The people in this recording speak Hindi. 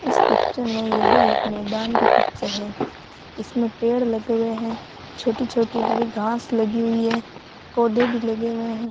इस पिक्चर में यह एक मैदान की पिक्चर है इसमें पेड़ लगे हुए हैं छोटी छोटी हरी घास लगी हुई है पौधे भी लगे हुए हैं।